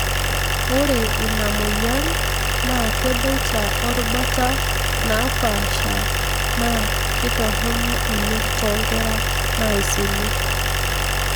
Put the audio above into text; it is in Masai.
ore ina moyian na keboita orubata napaasha na kitorono oleng tonkera naisini.